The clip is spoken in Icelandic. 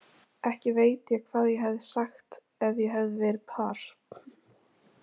Ekki veit ég hvað ég hefði sagt ef ég hefði verið þar.